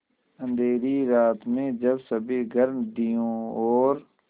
अँधेरी रात में जब सभी घर दियों और